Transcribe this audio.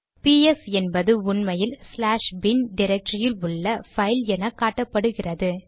பிஎஸ்ps என்பது உண்மையில் slash bin டிரக்டரியில் உள்ள பைல் என காட்டுகிறது